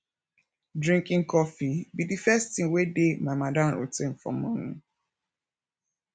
drinking coffee be the first thing wey dey my madam routine for morning